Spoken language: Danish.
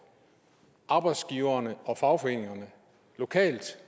arbejdsgiverne og fagforeningerne lokalt